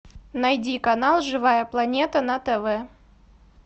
найди канал живая планета на тв